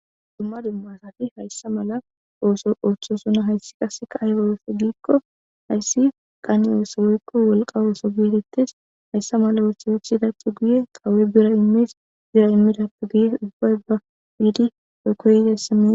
dumma dumma asati hayssa mala ooso ooththosona hayssi qaseka ah a oweso giikko hayssi qaanne oosso geykko wolqa ooso gietetes hayssa mala uotha wuchidache guye qaawoe bira immees bira immidappe guye ubbay ba wiidi deokkoyizassinne